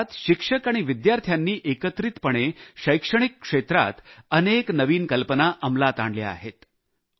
या काळात शिक्षक आणि विद्यार्थ्यांनी एकत्रितपणे शैक्षणिक क्षेत्रात अनेक नवीन कल्पना अंमलात आणल्या आहेत